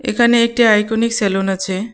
এখানে একটি iconic salon আছে.